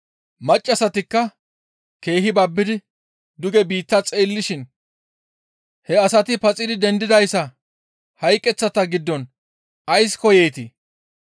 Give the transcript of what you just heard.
Maccassatikka keehi babbidi duge biitta xeellishin, «He asati paxidi dendidayssa hayqeththata giddon ays koyeetii?